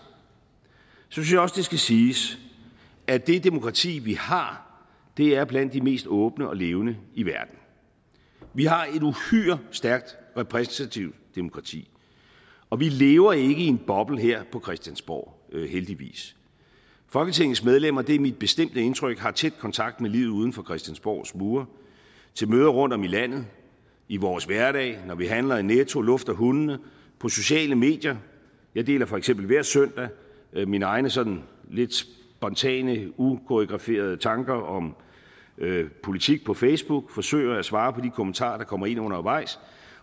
synes jeg også det skal siges at det demokrati vi har er blandt de mest åbne og levende i verden vi har et uhyre stærkt repræsentativt demokrati og vi lever ikke i en boble her på christiansborg heldigvis folketingets medlemmer det er mit bestemte indtryk har tæt kontakt med livet uden for christiansborgs mure til møder rundtom i landet i vores hverdag når vi handler i netto lufter hundene på sociale medier jeg deler for eksempel hver søndag mine egne sådan lidt spontane ukoreograferede tanker om politik på facebook og forsøger at svare på de kommentarer der kommer ind undervejs